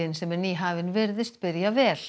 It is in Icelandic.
sem er nýhafin virðist byrja vel